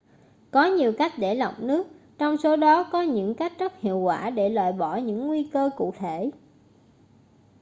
có nhiều cách để lọc nước trong số đó có những cách rất hiệu quả để loại bỏ những nguy cơ cụ thể